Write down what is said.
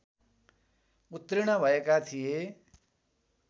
उत्तीर्ण भएका थिए